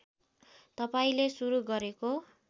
तपाईँले सुरु गरेको